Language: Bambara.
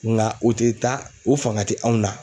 Ŋa o te taa o faŋa te anw na.